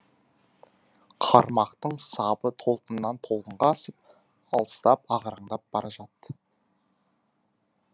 қармақтың сабы толқыннан толқынға асып алыстап ағараңдап бара жатты